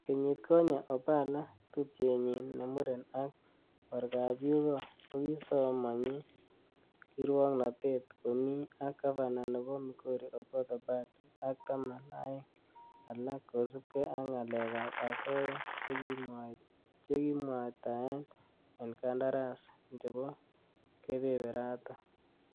Kenyit konye, opala ,tupchenyin nemuren ak korgab yugoo kokisomonyi kirwoknotet komi ak gavana nebo migori Okoth Obado ak taman aeng alak kosiibge ak ngalek ab asaya chekikimwataen en kandarasi chebo kebebereton.